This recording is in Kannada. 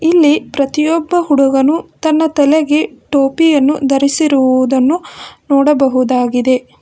ಇಲ್ಲಿ ಪ್ರತಿಯೊಬ್ಬ ಹುಡುಗನು ತನ್ನ ತಲೆಗೇ ಟೋಪಿಯನ್ನು ಧರಿಸಿರುವುದನ್ನು ನೋಡಬಹುದಾಗಿದೆ.